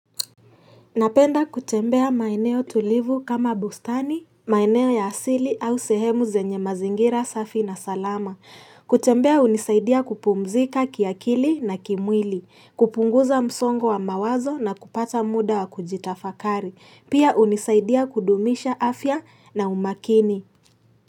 Napenda kutembea maeneo tulivu kama bustani, maeneo ya asili au sehemu zenye mazingira safi na salama. Kutembea hunisaidia kupumzika kiakili na kimwili, kupunguza msongo wa mawazo na kupata muda wa kujitafakari. Pia unisaidia kudumisha afya na umakini.